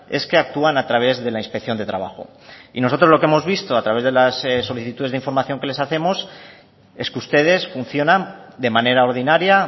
es que actúan a través de la inspección de trabajo y nosotros lo que hemos visto a través de las solicitudes de información que les hacemos es que ustedes funcionan de manera ordinaria